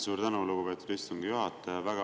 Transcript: Suur tänu, lugupeetud istungi juhataja!